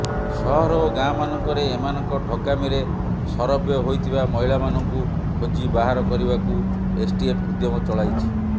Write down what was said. ସହର ଓ ଗାଁମାନଙ୍କରେ ଏମାନଙ୍କ ଠକାମିରେ ସରବ୍ୟ ହୋଇଥିବା ମହିଳାମାନଙ୍କୁ ଖୋଜି ବାହାର କରିବାକୁ ଏସ୍ଟିଏଫ୍ ଉଦ୍ୟମ ଚଳାଇଛି